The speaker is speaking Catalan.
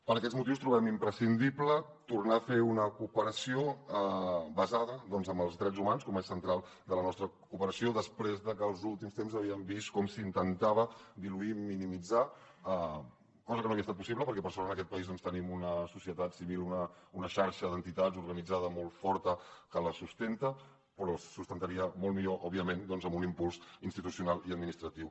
per aquests motius trobem imprescindible tornar a fer una cooperació basada en els drets humans com a eix central de la nostra cooperació després de que els últims temps havíem vist com s’intentava diluir i minimitzar cosa que no havia estat possible perquè per sort en aquest país tenim una societat civil una xarxa d’entitats organitzada molt forta que la sustenta però es sustentaria molt millor òbviament amb un impuls institucional i administratiu